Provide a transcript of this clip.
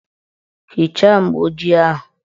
Hichaa mgbooji ahụ!